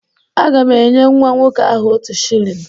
Aga m enye nwa nwoke ahụ otu shilling